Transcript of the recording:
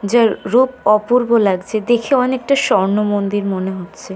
যার রূপ অপূর্ব লাগছে। দেখে অনেকটা স্বর্ণমন্দির মনে হচ্ছে।